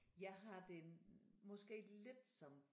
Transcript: Jeg har det måske lidt som